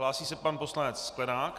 Hlásí se pan poslanec Sklenák.